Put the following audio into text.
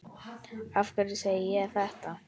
Af hverju segi ég þetta?